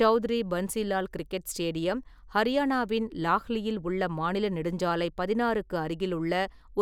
Chaudhary Bansi Lal cricket stadium ஹரியானாவின் லாஹ்லியில் உள்ள மாநில நெடுஞ்சாலை பதினாறுக்கு அருகிலுள்ள